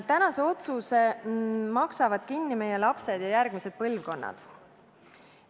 Tänase otsuse maksavad kinni meie lapsed ja järgmised põlvkonnad.